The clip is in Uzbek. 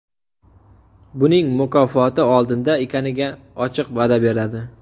Buning mukofoti oldinda ekaniga ochiq va’da beradi.